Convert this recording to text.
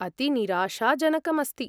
अति निराशाजनकम् अस्ति!